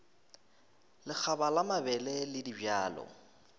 lekgaba la mabele le dibjalo